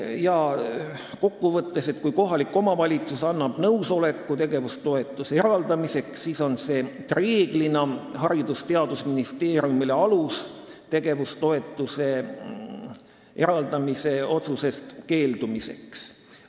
Kokkuvõtteks võib öelda, et kui kohalik omavalitsus annab nõusoleku tegevustoetuse eraldamiseks, siis on see reeglina Haridus- ja Teadusministeeriumile alus tegevustoetuse eraldamise otsusest keeldumiseks.